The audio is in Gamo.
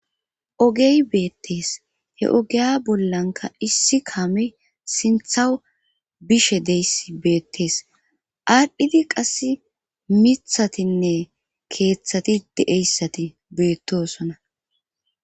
Ogey beettees he ogeya bollanka issi kaame sinthaw bishe deyss beettees ardhidi qass mithatinne keeththati deeyssati beettosona